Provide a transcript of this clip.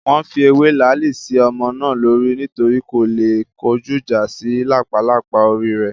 Wọ́n fi ewé làálì sí ọmọ náà lórí nítorí kó le kọjúìjà sí làpálàpá orí rẹ̀